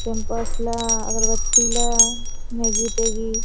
पेमपर्सला अगरबत्तीला मेगीर पेकीट ।